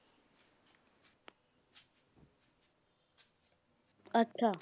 ਅੱਛਾ।